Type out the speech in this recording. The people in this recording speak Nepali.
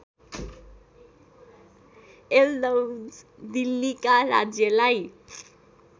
यल्दौज दिल्लीका राज्यलाई